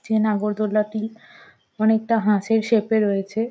যে নাগরদোলাটি অনেকটা হাঁসের সেপ - এ রয়েছে।